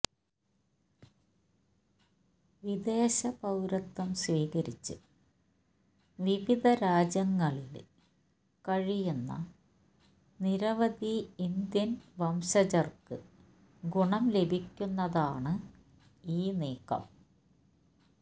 വിദേശ പൌരത്വം സ്വീകരിച്ച് വിവിധ രാജ്യങ്ങളില് കഴിയുന്ന നിരവധി ഇന്ത്യന് വംശജര്ക്ക് ഗുണം ലഭിക്കുന്നതാണ് ഈ നീക്കം